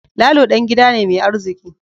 Lalo dan gida ne mai arziki